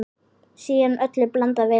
Síðan öllu blandað vel saman.